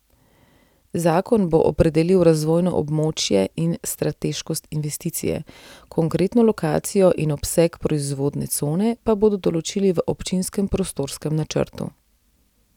Zakon bo opredelil razvojno območje in strateškost investicije, konkretno lokacijo in obseg proizvodne cone pa bodo določili v občinskem prostorskem načrtu.